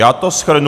Já to shrnu.